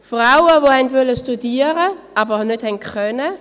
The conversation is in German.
Frauen, die studieren wollten, aber nicht konnten;